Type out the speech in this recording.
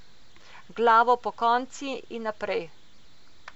Glavo pokonci in naprej.